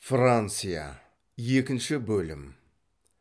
франция екінші бөлім